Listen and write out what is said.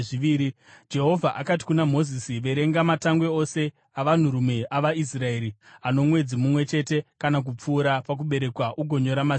Jehovha akati kuna Mozisi, “Verenga matangwe ose avanhurume avaIsraeri ano mwedzi mumwe chete kana kupfuura pakuberekwa ugonyora mazita avo.